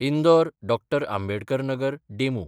इंदोर–डॉ. Ambedkar Nagar DEMU